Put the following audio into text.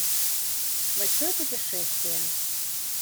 большое путешествие